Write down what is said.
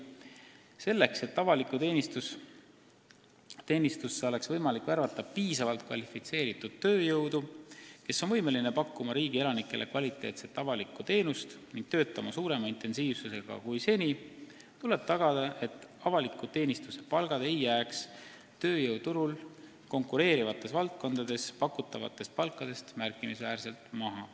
Selleks et avalikku teenistusse oleks võimalik värvata piisavalt kvalifitseeritud tööjõudu, kes on võimeline pakkuma riigi elanikele kvaliteetset avalikku teenust ning töötama suurema intensiivsusega kui seni, tuleb tagada, et avaliku teenistuse palgad ei jääks tööjõuturul konkureerivates valdkondades pakutavatest palkadest märkimisväärselt maha.